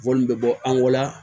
Wɔni be bɔ an go la